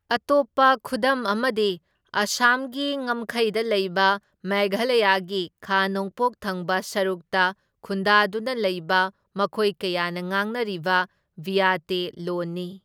ꯑꯇꯣꯞꯄ ꯈꯨꯗꯝ ꯑꯃꯗꯤ ꯑꯁꯥꯝꯒꯤ ꯉꯝꯈꯩꯗ ꯂꯩꯕ ꯃꯦꯘꯂꯌꯥꯒꯤ ꯈꯥ ꯅꯣꯡꯄꯣꯛ ꯊꯪꯕ ꯁꯔꯨꯛꯇ ꯈꯨꯟꯗꯥꯗꯨꯅ ꯂꯩꯕ ꯃꯤꯑꯣꯏ ꯀꯌꯥꯅ ꯉꯥꯡꯅꯔꯤꯕ ꯕꯤꯌꯇꯦ ꯂꯣꯟꯅꯤ꯫